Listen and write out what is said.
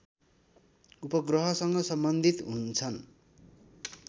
उपग्रहसँग सम्बन्धित हुन्छन्